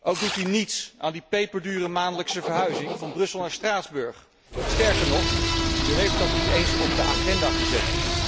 Ook doet u niets aan die peperdure maandelijkse verhuizing van Brussel naar Straatsburg. Sterker nog, u heeft dat niet eens op de agenda gezet.